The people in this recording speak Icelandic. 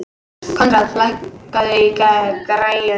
Koðrán, lækkaðu í græjunum.